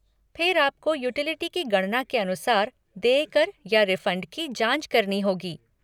फिर आपको यूटिलिटी की गणना के अनुसार देय कर या रिफ़ंड की जाँच करनी होगी।